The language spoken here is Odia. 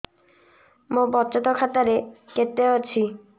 ମୋ ବଚତ ଖାତା ରେ କେତେ ଅଛି